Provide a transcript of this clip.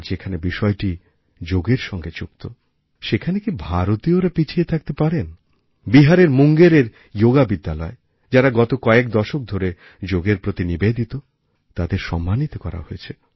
আর যেখানে বিষয়টা যোগের সঙ্গেযুক্ত সেখানে কি ভারতীয়রা পিছিয়ে থাকতে পারেন বিহারের মুঙ্গেরের যোগা বিদ্যালয় যারা গত কয়েক দশক ধরেযোগের প্রতি নিবেদিত তাদের সম্মানিত করা হয়েছে